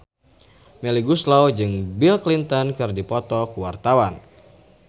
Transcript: Melly Goeslaw jeung Bill Clinton keur dipoto ku wartawan